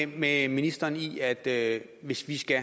med ministeren i at at hvis vi skal